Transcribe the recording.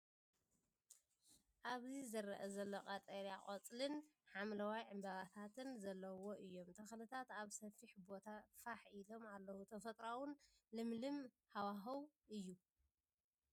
ኣብዚ ዝረአ ዘሎ ቀጠልያ ቆጽልን ሐምላይ ዕምባባታትን ዘለዎም እዮም። ተኽልታት ኣብ ሰፊሕ ቦታ ፋሕ ኢሎም ኣለዉ። ተፈጥሮኣውን ለምለምን ሃዋህው እዩ።